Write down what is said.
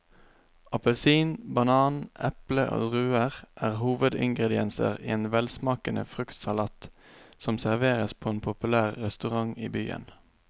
Appelsin, banan, eple og druer er hovedingredienser i en velsmakende fruktsalat som serveres på en populær restaurant i byen.